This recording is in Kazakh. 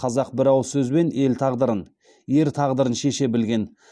қазақ бір ауыз сөзбен ел тағдырын ер тағдырын шеше білген